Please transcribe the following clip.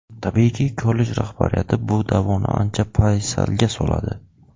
Tabiiyki, kollej rahbariyati bu da’voni ancha paysalga soladi.